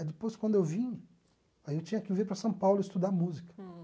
Aí depois, quando eu vim, aí eu tinha que vir para São Paulo estudar música.